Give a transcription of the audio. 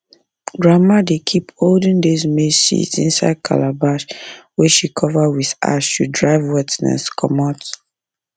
grandma dey keep olden days maize seeds inside calabash wey she cover with ash to drive wetness comot